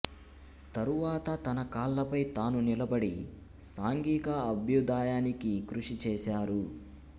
తరువాత తన కాళ్ళపై తాను నిలబడి సాంఘిక అభ్యుదయానికి కృషి చేశారు